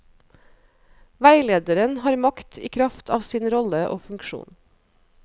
Veilederen har makt i kraft av sin rolle og funksjon.